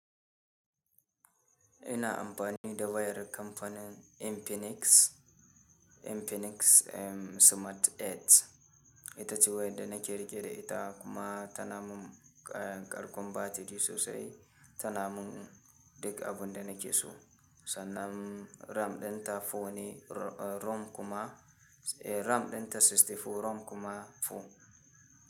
Ina amfani da wayar kamfanin Infinix, Infinix, ehm, Smart 8. Ita ce wayar da nake rike da ita kuma tana mun garkon battery sosai. Tana mun duk abun da nake so. Sannan RAM dinta 4 ne, ROM kuma, eh RAM dinta 64, ROM kuma 4.